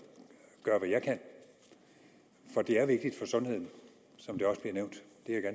gøre hvad jeg kan for det er vigtigt for sundheden som det også bliver nævnt